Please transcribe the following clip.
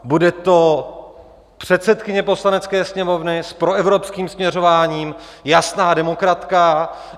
Bude to předsedkyně Poslanecké sněmovny, s proevropským směřováním, jasná demokratka.